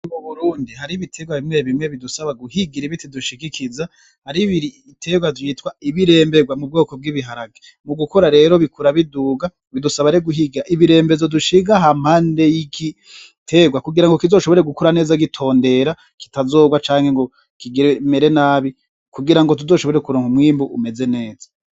Mu Burundi hariho ibitegwa bimwe bimwe bidusaba guhigira ibiti dushigikiza, hariho ibitegwa vyitwa ibiremberwa mu bwoko bw'ibiharage, mu gukura rero bikura biduga, bidusaba rero guhiga ibirembezo dishinga hampande y'igitegwa, kugira ngo kizoshobore gukura neza gitondera kitazogwa canke ngo kigire kimera nabi, kugira ngo tuzoshobore kugira umwimbu umeze neza.